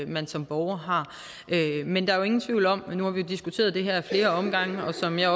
man som borger har men der er jo ingen tvivl om nu har vi diskuteret det her ad flere omgange og som jeg